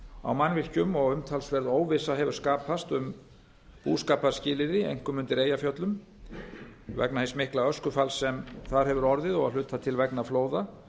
á mannvirkjum og umtalsverð óvissa hefur skapast um búskaparskilyrði einkum undir eyjafjöllum vegna hins mikla öskufalls sem þar hefur orðið og að hluta til vegna flóða